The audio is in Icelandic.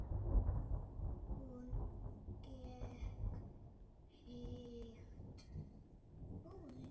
Hún gekk hægt.